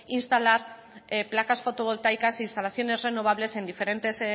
instalar placas fotovoltaicas e instalaciones renovables en diferentes